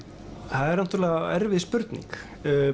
það er náttúrulega erfið spurning